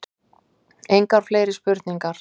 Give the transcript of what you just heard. Engar fleiri spurningar.